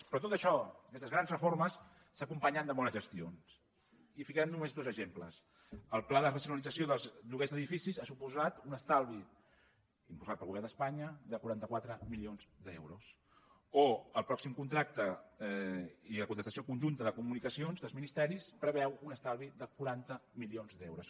però tot això aquestes grans reformes s’acompanyen de bones gestions i en ficarem només dos exemples el pla de racionalització dels lloguers d’edificis ha suposat un estalvi per al govern d’espanya de quaranta quatre milions d’euros o el pròxim contracte i la contractació conjunta de comunicacions dels ministeris preveu un estalvi de quaranta milions d’euros